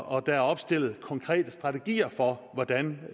og der er opstillet konkrete strategier for hvordan